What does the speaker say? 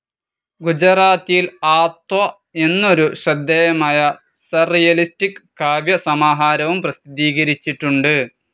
ഗുജറാത്തിയിൽ ആത്ത്വ എന്നൊരു ശ്രദ്ധേയമായ സർറിയലിസ്റ്റിക് കാവ്യ സമാഹാരവും പ്രസിദ്ധീകരിച്ചിട്ടുണ്ട്.